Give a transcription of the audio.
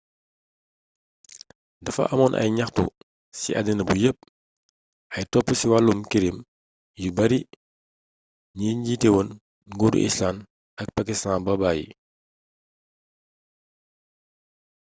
dafa amoon ay ñaxtu ci àddina bu yépp ay top ci wàllum kirim yu bari ba ñi njiitéwoon nguuru islànd ak paskistaan ba bayyi